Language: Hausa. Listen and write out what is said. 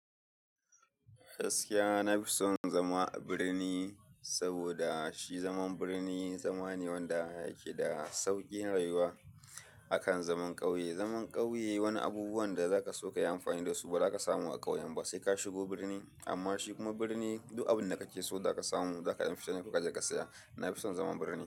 Gaskiya, na fi son zama a birni saboda shi zaman birni, zama ne wanda yake da sauƙin rayuwa akan zaman ƙauye. Zaman ƙauye wani abubuwan da zaka so ka yi amfani da su ba za ka samu a ƙauyen ba, sai ka shigo birni. Amma shi kuma birni duk abin da kake so zaka samu, zaka yi fita ne kuka je ka saya. Na fi son zaman birni.